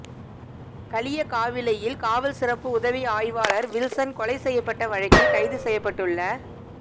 களியக்காவிளையில் காவல் சிறப்பு உதவி ஆய்வாளா் வில்சன் கொலை செய்யப்பட்ட வழக்கில் கைது செய்யப்பட்டுள்ள